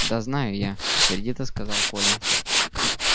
да знаю я сердито сказал коля